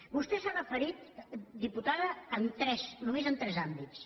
vostè s’ha referit diputada a tres només a tres àmbits